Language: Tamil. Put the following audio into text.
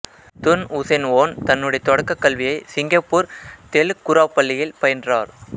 துன் உசேன் ஓன் தன்னுடைய தொடக்கக் கல்வியை சிங்கப்பூர் தெலுக் குராவ் பள்ளியில் பயின்றார்